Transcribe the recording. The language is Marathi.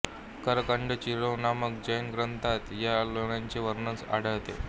करकंडचरिऊ नामक जैन ग्रंथात या लेण्यांचे वर्णन आढळते